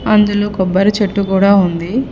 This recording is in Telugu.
అందులో కొబ్బరి చెట్టు కూడా ఉంది.